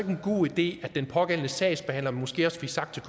en god idé at den pågældende sagsbehandler måske også fik sagt til